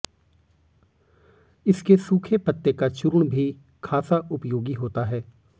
इसके सूखे पत्ते का चूर्ण भी खासा उपयोगी होता है